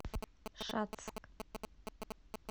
шацк